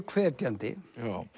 hvetjandi